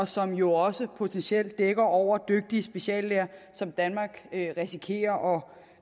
som jo også potentielt dækker over dygtige speciallæger som danmark risikerer